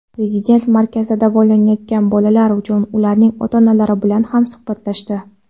Prezident markazda davolanayotgan bolalar va ularning ota-onalari bilan ham suhbatlashdi.